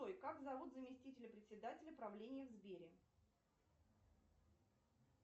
джой как зовут заместителя председателя правления в сбере